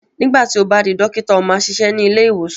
nígbà tí o bá di dókítà, ó máa ṣiṣẹ́ ní ilé-ìwòsàn.